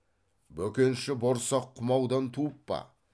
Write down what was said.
бөкенші борсақ құмаудан туып па